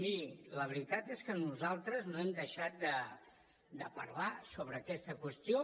miri la veritat és que nosaltres no hem deixat de parlar sobre aquesta qüestió